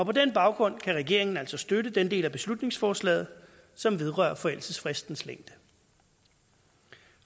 på den baggrund kan regeringen altså støtte den del af beslutningsforslaget som vedrører forældelsesfristens længde